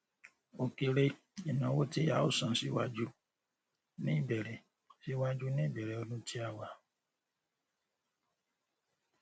o kere ináwó tí a o san síwájú ní ìbẹrẹ síwájú ní ìbẹrẹ ọdún tí a wà